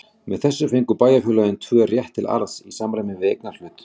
Með þessu fengu bæjarfélögin tvö rétt til arðs í samræmi við eignarhlut.